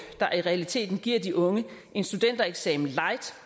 der i realiteten giver de unge en studentereksamen light